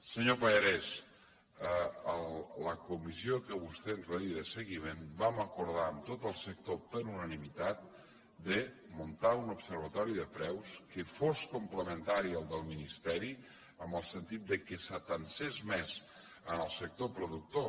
senyor pallarès la comissió que vostè ens va dir de seguiment vam acordar amb tot el sector per unanimitat de muntar un observatori de preus que fos complementari del del ministeri en el sentit que s’atansés més al sector productor